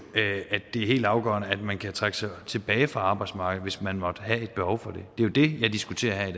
det er helt afgørende at man kan trække sig tilbage fra arbejdsmarkedet hvis man måtte have et behov for det det jo det jeg diskuterer her i